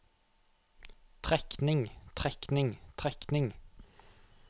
trekning trekning trekning